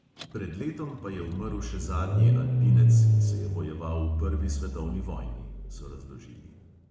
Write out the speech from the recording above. "Pred letom pa je umrl še zadnji alpinec, ki se je bojeval v prvi svetovni vojni," so razložili.